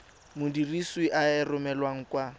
modirisi a e romelang kwa